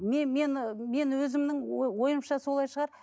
мен мен өзімнің ой ойымша солай шығар